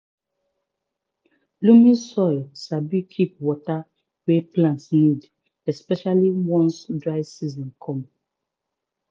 loamy soil sabi keep water wey plant need especially once dry season come